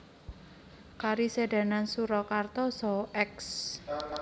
Karesidenan Surakarta saha Eks